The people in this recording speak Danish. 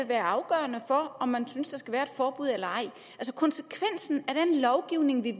være afgørende for om man synes der skal være forbud eller ej konsekvensen af den lovgivning vi